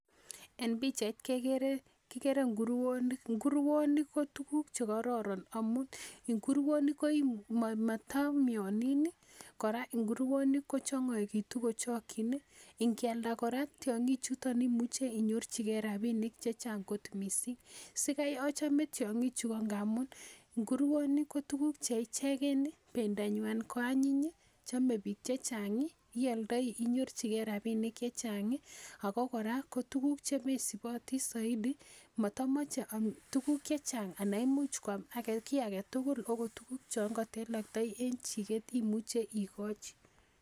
En pichaini kekere inguronik, inguronik ko tukuk chekororon amun inguronik komoto mionin nii koraa inguronik kochongoitu kochokin nii, inkialda koraa tyongik chuton imuche inyorchigee rabinik chechang kot missing, sikai ochome tyongik chuu ko ngamun nguronik ko tukuk cheichek, pendonywan ko anyiny chome bik chechang ioldoi inyorchigee rabinik chechang ako koraa ko tukuk chemesibotii soiti motomoche tukuk chechang ana imuch kwam kii agetutuk akot tukuk chon koteloktoi en chiket imuche ikoji.